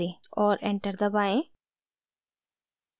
और enter दबाएं